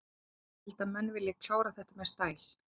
Ég held að menn vilji klára þetta með stæl.